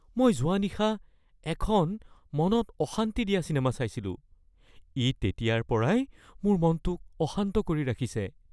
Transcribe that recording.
মই যোৱা নিশা এখন মনত অশান্তি দিয়া চিনেমা চাইছিলো, ই তেতিয়াৰ পৰাই মোৰ মনটোক অশান্ত কৰি ৰাখিছে। (বন্ধু ২)